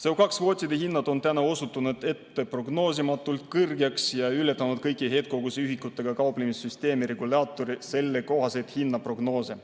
CO2 kvoodi hind on osutunud prognoosimatult kõrgeks ja ületanud kõiki heitkoguse ühikutega kauplemise süsteemi regulaatori sellekohaseid hinnaprognoose.